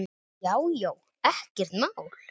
Já já, ekkert mál.